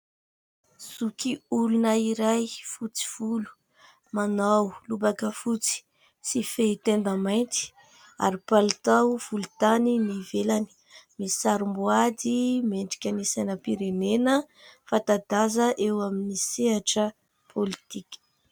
Zokiolona iray fotsy volo, manao lobaka fotsy tsy fehitenda mainty ary palitao volontany ny ivelany. Misarom-boady miendrika sainam-pirenena fanta-daza eo amin'ny sehatra pôlitika.